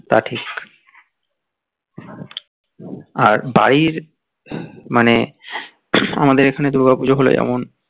তা ঠিক আর বাড়ির মানে আমাদের এখানে দূর্গা পুজো হলে এমন